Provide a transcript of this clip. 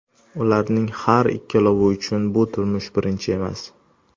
Ularning har ikkalovi uchun bu turmush birinchisi emas.